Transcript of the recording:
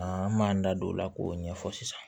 an m'an da don o la k'o ɲɛfɔ sisan